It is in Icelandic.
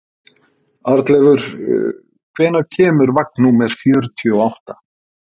Arnleifur, hvenær kemur vagn númer fjörutíu og átta?